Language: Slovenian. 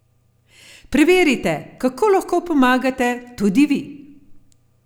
Preverite, kako lahko pomagate tudi vi!